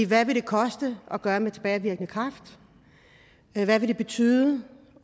hvad vil det koste at gøre det med tilbagevirkende kraft hvad vil det betyde